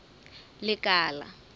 lekala